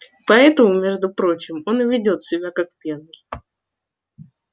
и поэтому между прочим он и ведёт себя как пьяный